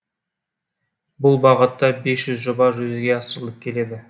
бұл бағытта бес жүз жоба жүзеге асырылып келеді